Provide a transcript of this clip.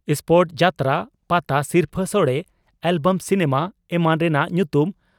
spot ᱡᱟᱛᱨᱟ, ᱯᱟᱛᱟ ᱥᱤᱨᱯᱟᱹ ᱥᱚᱲᱮ ,ᱮᱞᱵᱚᱢ ᱥᱤᱱᱮᱢᱟ ᱮᱢᱟᱱ ᱨᱮᱱᱟᱜ ᱧᱩᱛᱩᱢ